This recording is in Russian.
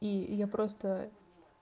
и я просто